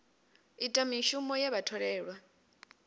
ita mishumo ye vha tholelwa